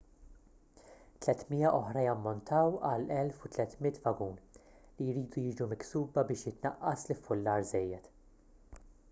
300 oħra jammontaw għal 1,300 vagun li jridu jiġu miksuba biex jitnaqqas l-iffullar żejjed